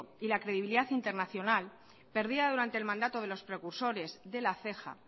y la credibilidad internacional perdida durante el mandato de los precursores de la ceja